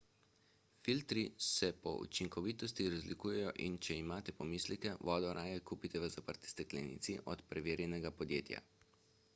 filtri se po učinkovitosti razlikujejo in če imate pomisleke vodo raje kupite v zaprti steklenici od preverjenega podjetja